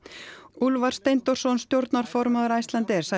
Úlfar Steindórsson stjórnarformaður Icelandair sagði